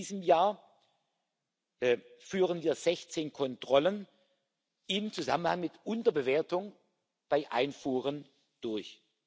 Allein in diesem Jahr führen wir 16 Kontrollen im Zusammenhang mit Unterbewertungen bei Einfuhren durch.